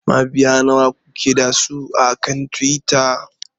Mabiya nawa kuke da su akan Twitter?